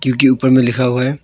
क्योंकि ऊपर में लिखा हुआ है।